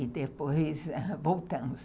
E depois ãh, voltamos.